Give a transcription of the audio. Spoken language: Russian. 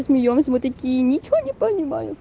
смеёмся мы такие ничего не понимаем